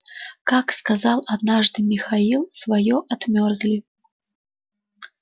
как сказал однажды михаил своё отмёрзли